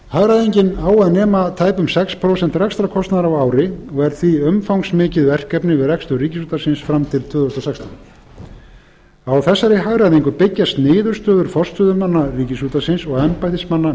hagræðingin á að nema tæpum sex prósent rekstrarkostnaðar á ári og er því umfangsmikið verkefni við rekstur ríkisútvarpsins fram til tvö þúsund og sextán á þessari hagræðingu byggjast niðurstöður forstöðumanna ríkisútvarpsins og embættismanna